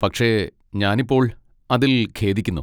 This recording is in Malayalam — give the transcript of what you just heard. പക്ഷെ, ഞാനിപ്പോൾ അതിൽ ഖേദിക്കുന്നു.